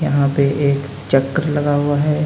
यहाँ पे एक चक्र लगा हुआ है।